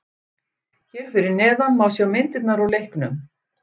Hér fyrir neðan má sjá myndirnar úr leiknum.